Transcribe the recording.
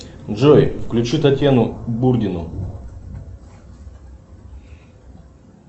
джой включи татьяну бурдину